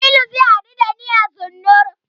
Jamilu zai haɗu da ni a Zennoor.